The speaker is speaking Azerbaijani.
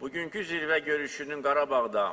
Bugünkü zirvə görüşünün Qarabağda,